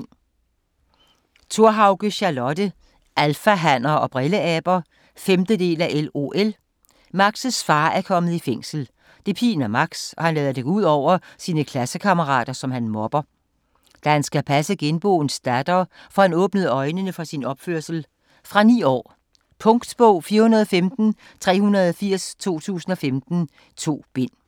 Thorhauge, Charlotte: Alfahanner og brilleaber 5. del af LOL. Max's far er kommet i fængsel. Det piner Max og han lader det gå ud over sine klassekammerater, som han mobber. Da han skal passe genboens datter, får han åbnet øjnene for sin opførsel. Fra 9 år. Punktbog 415380 2015. 2 bind.